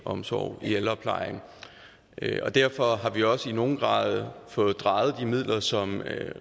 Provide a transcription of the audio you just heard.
omsorg i ældreplejen derfor har vi også i nogen grad fået drejet de midler som